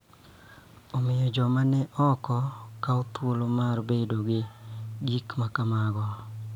Omiyo, joma ni oko kawo thuolo mar bedo gi gik ma kamago.